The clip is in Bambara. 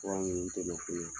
Fura ninnu tɛ mako ɲɛ.